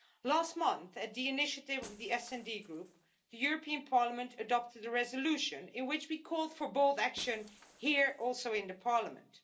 Last month, at the initiative of the SD Group, the European Parliament adopted a resolution in which we called for bold action here in Parliament.